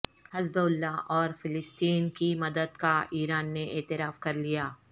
حزب اللہ اور فلسطین کی مدد کا ایران نے اعتراف کرلیا